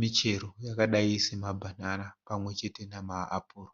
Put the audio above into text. michero yakadai samabhanana pamwe chete nemaapuro.